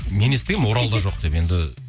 мен естігенмін оралда жоқ деп енді